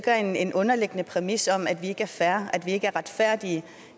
er en underliggende præmis om at vi ikke er fair at vi ikke er retfærdige